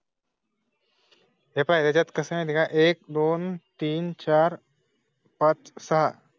त्याच्यात कसं आहे ना? एक दोन तीन चार पांच साहा